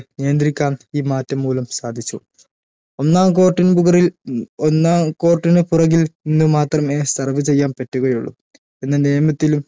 നിയന്ത്രിക്കാൻ ഈ മാറ്റം മൂലം സാധിച്ചു ഒന്നാം court ന് പുകറിൽ ഒന്നാം court ന് പുറകിൽ നിന്ന് മാത്രമേ serve ചെയ്യാൻ പറ്റുകയുള്ളു എന്ന് നിയമത്തിൽ